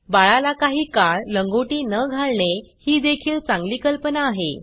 बाळाला काही काळ लंगोटी न घालणे ही देखील चांगली कल्पना आहे